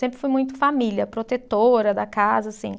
Sempre fui muito família, protetora da casa, assim.